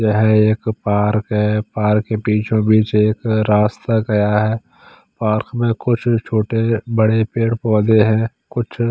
यह एक पार्क है पार्क के बिच ओ बिच एक रास्ता गया है पार्क में कुछ छोटे बड़े पेड़ पोधे हैं कुछ--